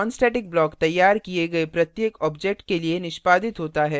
nonstatic block तैयार किए गए प्रत्येक object के लिए निष्पादित होता है